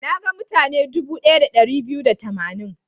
Na ga mutane dubu ɗaya da ɗari biyu da tamanin.